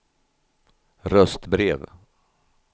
röstbrev